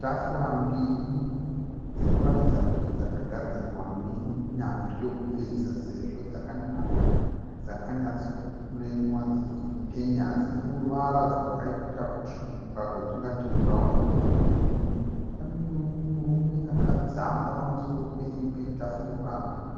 Tafura mbiri dzinoratidza kuti dzakagadzirwa nenyanzvi yekuveza. Sezvo dzakanaka dzakanyatso kupurenewa dzichi penya dzine ruvara rwakaita kutsvuka rwatingati bhurauni. Kune mumwe murume akadzamba pamusoro pe imwe tafura